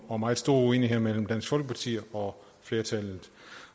og meget store uenigheder mellem dansk folkeparti og flertallet